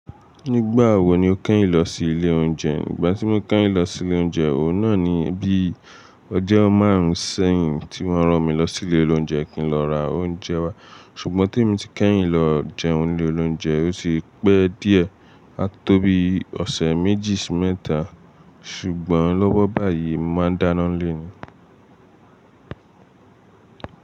Nígbà wo ni o kẹ́yìn lọ sí ilé oúnjẹ? Ìgbà tí mo kẹ́yìn lọ sí ilé oúnjẹ, òun náà ni bí ọjọ́ márùn-ún sẹ́yìn tí wọ́n rán mi lọ sí ilé oloúnjẹ kí n lọ ra oúnjẹ wá, ṣùgbọ́n tèmi ti kẹ́yìn lọ jẹun ń ilé oúnjẹ ó ti pẹ́ díẹ̀, a tó bí ọ̀sẹ̀ méjì sí mẹ́ta. Ṣùgbọ́n lọ́wọ́ báyìí, mo máa dáná n'lé ni.